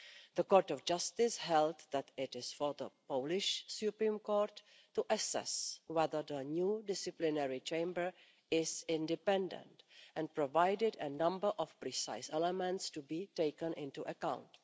The Court of Justice held that it was for the Polish Supreme Court to assess whether the new disciplinary chamber was independent and provided a number of precise elements to be taken into account.